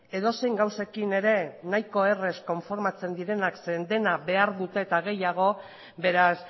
edozein gauzekin ere nahiko errez konformatzen direnak zeren dena behar dute eta gehiago beraz